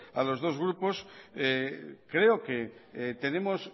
a los dos grupos creo que tenemos